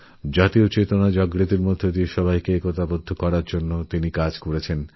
রাষ্ট্রীয় চেতনায় উদ্বুদ্ধ করে জাগরিত করে মানুষজনকে একজোটহতে সাহায্য করেন